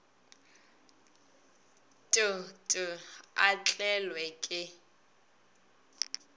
t t a tlelwe ke